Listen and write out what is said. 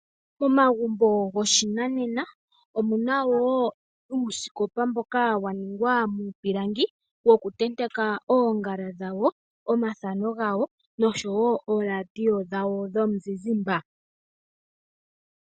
Momagumbo goshinanena omuna woo uusikopa mboka wa ningwa muupilangi woku tenteka oongala dhawo, omafano noshowo oradio dhawo dhomuzizimba.